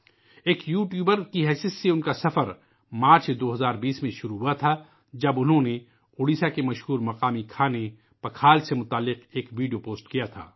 ایک YouTuber کی شکل میں ، اُن کا سفر مارچ ، 2020 ء میں شروع ہوا تھا ، جب انہوں نے اڈیشہ کے مشہور مقامی کھانے پکھال سے جڑا ایک ویڈیو پوسٹ کیا تھا